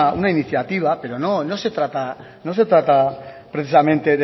una iniciativa pero no no se trata no se trata precisamente